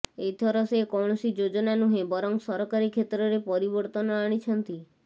ଏଥର ସେ କୌଣସି ଯୋଜନା ନୁହେଁ ବରଂ ସରକାରୀ କ୍ଷେତ୍ରରେ ପରିବର୍ତ୍ତନ ଆଣିଛନ୍ତି